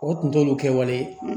O tun t'olu kɛwale